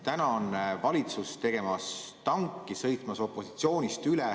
Täna on valitsus tegemas tanki, sõitmas opositsioonist üle.